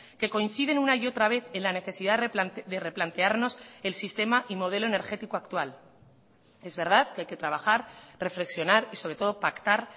que coinciden una y otra vez en la necesidad de replantearnos el sistema y modelo energético actual es verdad que hay que trabajar reflexionar y sobre todo pactar